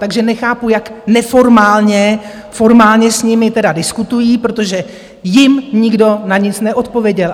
Takže nechápu, jak neformálně formálně s nimi tedy diskutují, protože jim nikdo na nic neodpověděl.